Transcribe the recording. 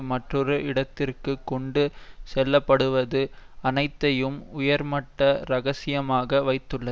மற்றொரு இடத்திற்கு கொண்டு செல்லப்படுவது அனைத்தையும் உயர்மட்ட இரகசியமாக வைத்துள்ளது